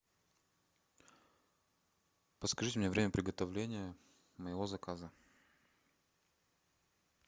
подскажите мне время приготовления моего заказа